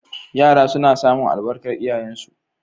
Yara suna samun albarkar iyayensu.